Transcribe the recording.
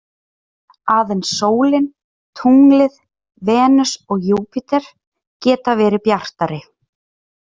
Aðeins sólin, tunglið, Venus og Júpíter geta verið bjartari.